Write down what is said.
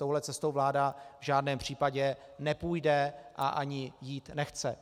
Touhle cestou vláda v žádném případě nepůjde a ani jít nechce.